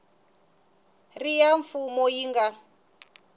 ri ya mfumo yi nga